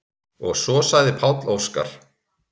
Og svo sagði Páll Óskar: